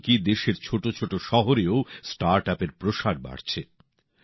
এমনকি দেশের ছোট ছোট শহরেও স্টার্টআপের প্রসার বাড়ছে